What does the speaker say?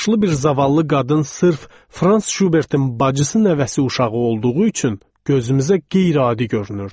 Yaşlı bir zavallı qadın sırf Frans Şubertin bacısı nəvəsi uşağı olduğu üçün gözümüzə qeyri-adi görünürdü.